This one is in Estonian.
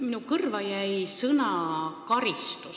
Minu kõrvu jäi sõna "karistus".